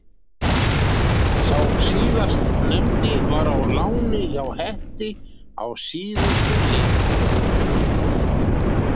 Sá síðastnefndi var á láni hjá Hetti á síðustu leiktíð.